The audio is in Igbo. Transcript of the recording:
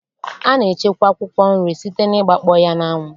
A na-echekwa akwụkwọ nri site n'ịgbakpọ ya n'anwụ.